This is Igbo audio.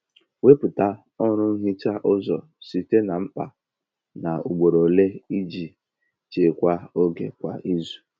Wepụta ọrụ nhicha ụzọ site na mkpa na ugboro ole iji chekwaa oge kwa izu.